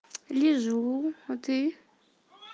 лежу а ты